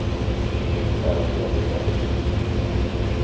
Det finns skäl att påpeka det.